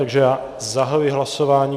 Takže já zahajuji hlasování.